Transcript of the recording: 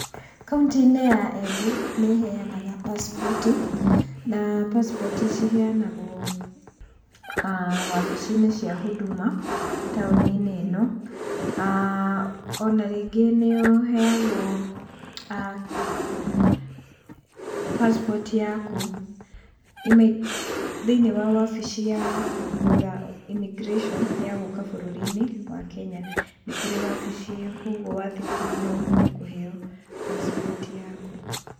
Kauntĩ-inĩ ya Embu nĩ ĩheanga passport na passport ciheanagwo wabici-inĩ cia Huduma, taũni-inĩ ĩno, ona ningĩ nĩ ũheagwo passport yaku thĩiniĩ wa wabici ya immigration ya gũũka bũrũri-inĩ wa Kenya. Nĩkũrĩ wabici ĩyo koguo wathiĩ kũu no ũhote kũheo passport yaku.